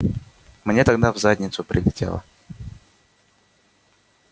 мне тогда в задницу прилетело